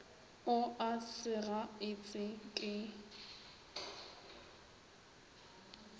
o a sega etse ke